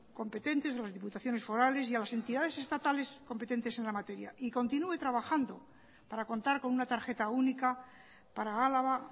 competentes con las diputaciones forales y a las entidades estatales competentes en la materia y continúe trabajando para contar con una tarjeta única para álava